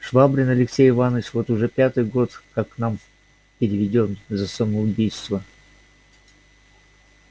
швабрин алексей иванович вот уж пятый год как к нам переведён за самоубийство